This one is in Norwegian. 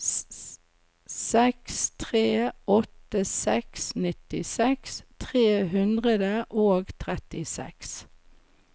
seks tre åtte seks nittiseks tre hundre og trettiseks